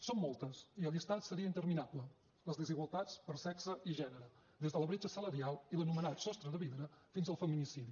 són moltes i el llistat seria interminable les desigualtats per sexe i gènere des de la bretxa salarial i l’anomenat sostre de vidre fins al feminicidi